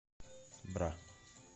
бра